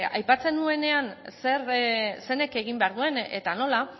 aipatzen nuenean zeinek egin behar duen eta nola